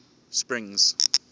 springs